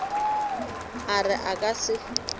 a re a ka se